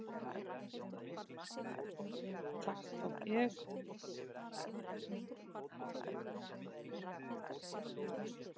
Þar tók ég